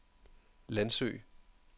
Landsø